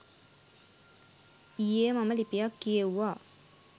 ඊයේ මම ලිපියක් කියෙව්වා.